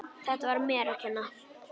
Þetta var mér að kenna.